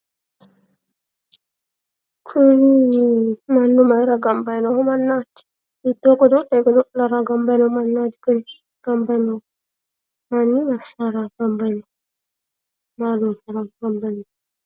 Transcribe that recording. Kuni mannu maayiira gamba yino mannaati? hiittoo godo'le godo'lara gamba yino mannaati? kuni gamba yino manni massaraati?